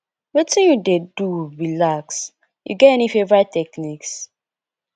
wetin you dey do relax you get any favorite techniques